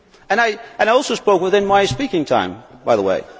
I also spoke within my speaking time, by the way.